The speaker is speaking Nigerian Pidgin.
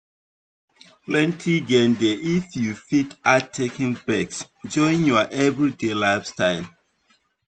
plenty gain dey if you fit add taking breaks join your everyday lifestyle.